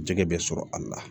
Jɛgɛ bɛ sɔrɔ a la